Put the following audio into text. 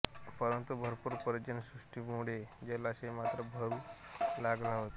परंतु भरपूर पर्जन्यवृष्टीमुळे जलाशय मात्र भरू लागला होता